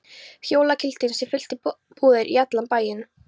Jólalyktin sem fyllti búðir og allan bæinn?